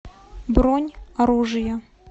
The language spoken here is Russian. бронь оружие